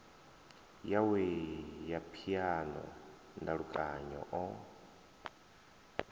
yawe ya phiano ndalukanyo o